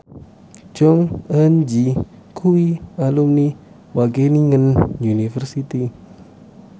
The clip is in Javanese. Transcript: Jong Eun Ji kuwi alumni Wageningen University